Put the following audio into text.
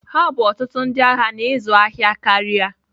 Ha bụ ọtụtụ ndị ahịa na ịzụ ahịa karịa.